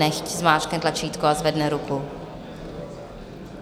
Nechť zmáčkne tlačítko a zvedne ruku.